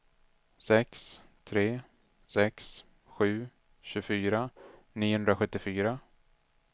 sex tre sex sju tjugofyra niohundrasjuttiofyra